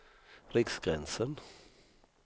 Riksgränsen